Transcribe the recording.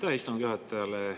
Aitäh istungi juhatajale!